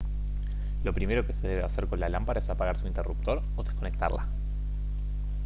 lo primero que se debe hacer con la lámpara es apagar su interruptor o desconectarla